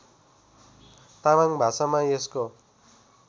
तामाङ भाषामा यसको